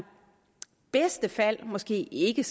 bedste fald måske ikke